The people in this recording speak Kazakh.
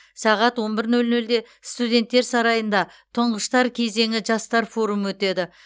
сағат он бір нөл нөлде студенттер сарайында ттұңғыштар кезеңі жастар форумы өтеді